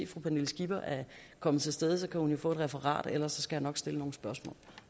fru pernille skipper er kommet til stede så kan hun jo få et referat ellers skal jeg nok stille nogle spørgsmål